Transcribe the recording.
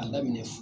A daminɛ